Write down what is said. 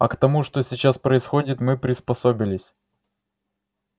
а к тому что сейчас происходит мы приспособились